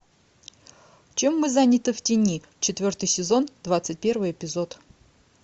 чем мы заняты в тени четвертый сезон двадцать первый эпизод